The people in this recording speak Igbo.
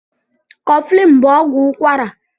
Kọflin bú ọgwụ ụkwara